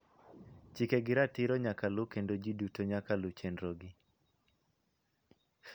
Chike gi ratiro nyaka luw kendo ji duto nyaka lu chenrogi.